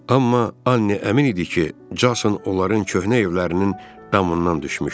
Amma Anni əmin idi ki, Jason onların köhnə evlərinin damından düşmüşdü.